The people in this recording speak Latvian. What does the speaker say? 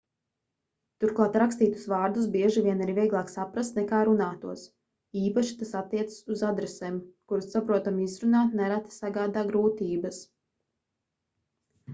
turklāt rakstītus vārdus bieži vien ir vieglāk saprast nekā runātos īpaši tas attiecas uz adresēm kuras saprotami izrunāt nereti sagādā grūtības